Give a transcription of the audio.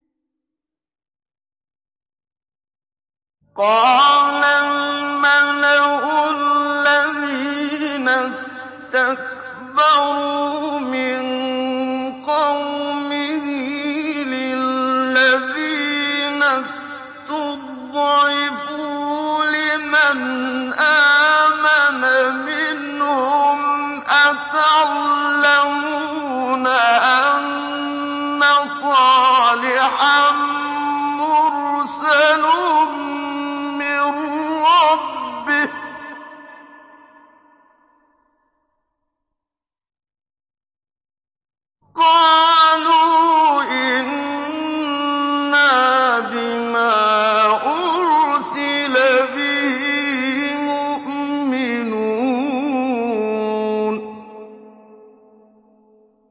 قَالَ الْمَلَأُ الَّذِينَ اسْتَكْبَرُوا مِن قَوْمِهِ لِلَّذِينَ اسْتُضْعِفُوا لِمَنْ آمَنَ مِنْهُمْ أَتَعْلَمُونَ أَنَّ صَالِحًا مُّرْسَلٌ مِّن رَّبِّهِ ۚ قَالُوا إِنَّا بِمَا أُرْسِلَ بِهِ مُؤْمِنُونَ